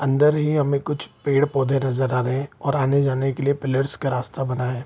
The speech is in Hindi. अन्दर ही हमें कुछ पेड़-पौधे नज़र आ रहे हैं और आने-जाने के लिए पिलर्स का रास्ता बना है।